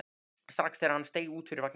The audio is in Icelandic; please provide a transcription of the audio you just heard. strax þegar hann steig út úr vagninum.